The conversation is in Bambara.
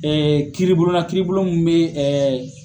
kiiribulon na kiiribulon min bɛ